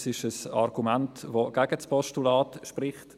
Das ist ein Argument, das gegen das Postulat spricht.